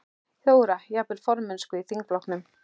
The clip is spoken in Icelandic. Þóra: Jafnvel formennsku í þingflokknum?